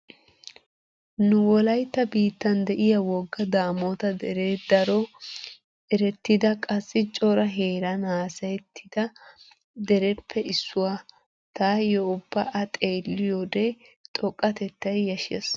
Nu wolaytta biittan de'iya wogga Daamota deree daro erettida qassi cora heeran haasayettiya dereppe issuwa. Taaylyo ubba a xeelliyode xoqqatettay yashshees.